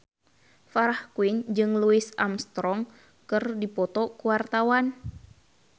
Farah Quinn jeung Louis Armstrong keur dipoto ku wartawan